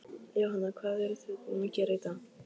Jóhanna: Hvað eruð þið búin að gera í dag?